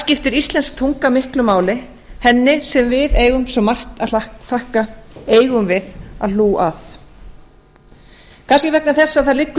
skiptir íslensk tunga miklu máli henni sem við eigum svo margt að þakka eigum við að held að kannski vegna þess að það liggur í